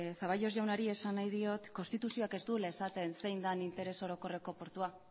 zaballos jaunari esan nahi diot konstituzioak ez duela esaten zein den interes orokorreko portua